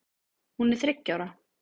Hún er þriggja ára.